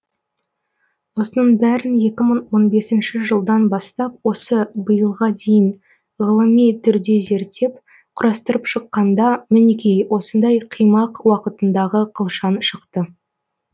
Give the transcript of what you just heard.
осының бәрін екі мың он бесінші жылдан бастап осы биылға дейін ғылыми түрде зерттеп құрастырып шыққанда мінекей осындай қимақ уақытындағы қылшан шықты